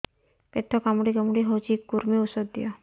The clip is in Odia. ପେଟ କାମୁଡି କାମୁଡି ହଉଚି କୂର୍ମୀ ଔଷଧ ଦିଅ